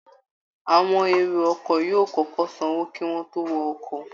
Àwọn èrò ọkọ̀ yóò kọ́kọ́ sanwó kí wọ́n tó wọkọ̀